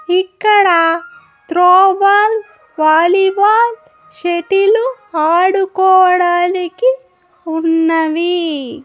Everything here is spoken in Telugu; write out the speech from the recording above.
ఇక్కడా త్రోబాల్ వాలీబాల్ షెటీలు ఆడుకోవడానికి ఉన్నవి.